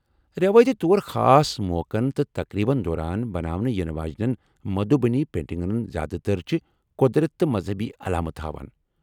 رٮ۪وٲیتی طور خاص موقعن تہٕ تقریبن دوران بناونہٕ یِنہٕ واجیٚن ، مدھوٗبنی پینٛٹنگن ہٕنٛز زیادٕ تَر چھِ قۄدرت تہٕ مذہبی علامتہٕ ہاوان ۔